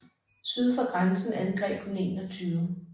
Syd for grænsen angreb den 21